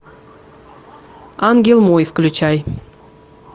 ангел мой включай